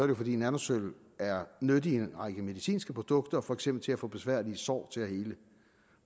jo fordi nanosølv er nyttig i en række medicinske produkter for eksempel til at få besværlige sår til at hele